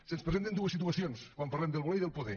se’ns presenten dues situacions quan parlem de voler i de poder